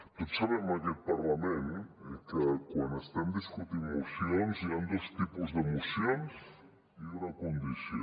tots sabem en aquest parlament que quan estem discutint mocions hi han dos tipus de mocions i una condició